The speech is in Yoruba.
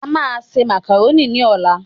A máa se màkàrónì ní ọ̀la